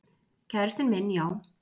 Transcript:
Kærastinn minn, já.